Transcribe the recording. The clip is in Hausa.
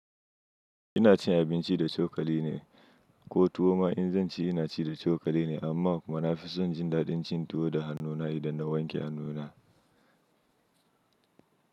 Ina cin abinci da cokali ne, ko tuwo ma in zan ci, ina ci da cokali ne. Amma kuma na fi son jin daɗin cin tuwo da hannuna idan na wanke hannuna.